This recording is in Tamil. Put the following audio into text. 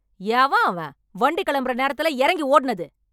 எவன் அவன், வண்டி கெளம்பற நேரத்துல எறங்கி ஓடுனது...